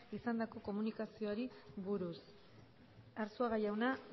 izandako komunikazioari buruz arzuaga jauna